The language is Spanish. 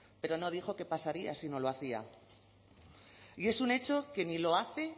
pero no dijo qué pasaría si no lo hacía y es un hecho que ni lo hace